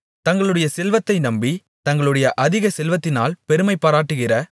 தங்களுடைய செல்வத்தை நம்பி தங்களுடைய அதிக செல்வத்தினால் பெருமைபாராட்டுகிற